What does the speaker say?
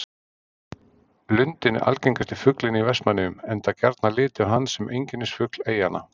Lundinn er algengasti fuglinn í Vestmannaeyjum enda gjarnan litið á hann sem einkennisfugl eyjanna.